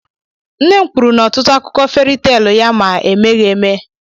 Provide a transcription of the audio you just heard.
Nne m kwuru n'ọtụtụ akụkọ feri teelụ ya ma emeghị eme.